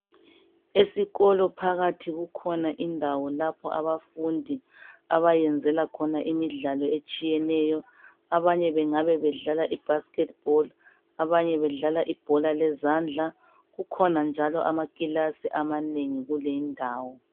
Esikolo phakathi kukhona indawo lapho abafundi abayenzela khona imidlalo etshiyeneyo. Abanye bengabe bedlala ibhasikhethi bholu abanye bedlala ibhola lezandla. Kukhona njalo amakilasi amanengi kuleyi indawo.